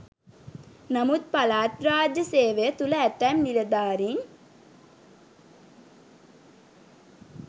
නමුත් පළාත් රාජ්‍ය සේවය තුල ඇතැම් නිළධාරීන්